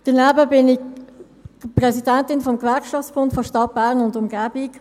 Daneben bin ich Präsidentin des Gewerkschaftsbunds der Stadt Bern und Umgebung.